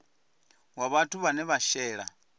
wa vhathu vhane vha shela